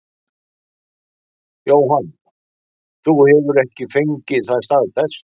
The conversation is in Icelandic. Jóhann: Þú hefur ekki fengið það staðfest?